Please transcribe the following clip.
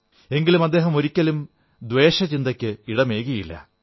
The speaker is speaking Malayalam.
എങ്കിലും അദ്ദേഹം ഒരിക്കലും ദ്വേഷചിന്തയ്ക്ക് ഇടമേകിയില്ല